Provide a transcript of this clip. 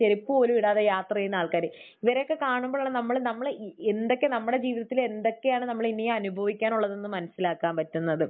ചെരുപ്പ് പോലും ഇടാതെ യാത്ര ചെയ്യുന്ന ആൾക്കാർ. ഇവരെയൊക്കെ കാണുമ്പോഴുള്ള നമ്മൾ നമ്മൾ എന്തൊക്കെ നമ്മുടെ ജീവിതത്തിൽ എന്തൊക്കെയാണ് നമ്മൾ ഇനിയും അനുഭവിക്കാനുള്ളതെന്ന് മനസ്സിലാക്കാൻ പറ്റുന്നത്.